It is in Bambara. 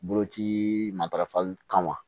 Boloci matarafali kama